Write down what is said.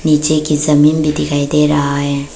नीचे की जमीन भी दिखाई दे रहा है।